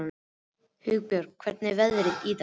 Hugbjörg, hvernig er veðrið í dag?